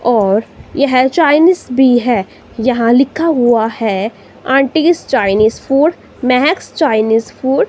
और यह चाइनीस भी है यहां लिखा हुआ है aunty's Chinese food Mahak Chinese food.